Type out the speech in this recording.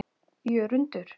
Jörundur